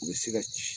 U bɛ se ka ci